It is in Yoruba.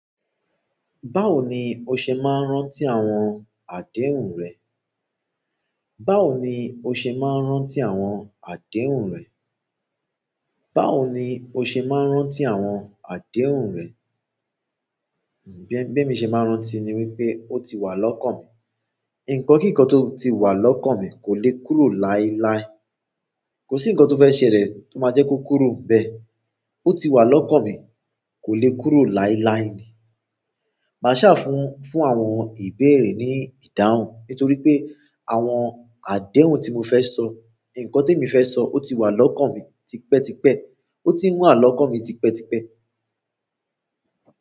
Báwo ni o ṣe máa ń rántí àwọn àdéhùn rẹ? Báwo ni o ṣe máa ń rántí àwọn àdéhùn rẹ? Báwo ni o ṣe máa ń rántí àwọn àdéhùn rẹ? Bí emi ṣe máa ń rántí ni wípé ó ti wà lọ́kàn mi. Ǹkan kí ǹkan tó ti wà lọ́kàn mi kò le kúrò láíláí. Kò sí ǹkan tó fẹ́ ṣẹlẹ̀ tó máa jẹ́ kó kúrò bẹ. Otiwa lọ́kàn mi, ko le kúrò lailai nii màṣàfún fún àwọn ìbéèrè ní ìdáhùn nítorí pé àwọn àdéhùn tí mo fẹ́ sọ, ǹkan tí mo fẹ́ sọ ó ti wà lọ́kàn mi tipẹ́ tipẹ́. Ó ti n wà lọ́kàn mi tipẹ́ tipẹ́.